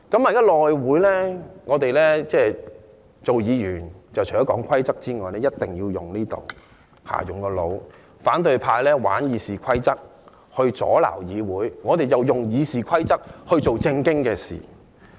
現在內會的情況是，議員除了要遵守規則外，亦要運用腦袋，反對派玩弄《議事規則》阻攔議會，我們便用《議事規則》做正經事。